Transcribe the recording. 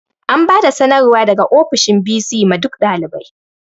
An bada sanarwar daga ofishin bc ma duk ɗalibai